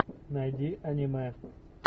найди аниме